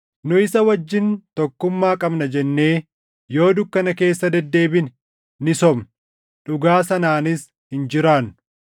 Nu isa wajjin tokkummaa qabna jennee yoo dukkana keessa deddeebine ni sobna; dhugaa sanaanis hin jiraannu.